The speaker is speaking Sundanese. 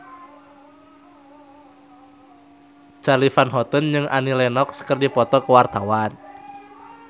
Charly Van Houten jeung Annie Lenox keur dipoto ku wartawan